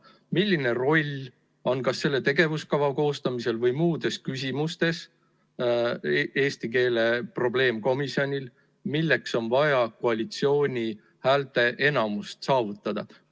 Milline roll on kas selle tegevuskava koostamisel või muudes küsimustes eesti keele probleemkomisjonil ja milleks on vaja koalitsiooni häälteenamust saavutada?